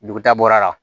Duguta bɔra la